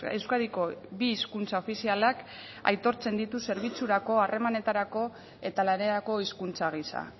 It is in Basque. euskadiko bi hizkuntza ofizialak aitortzen ditu zerbitzurako harremanetarako eta lanerako hizkuntza gisa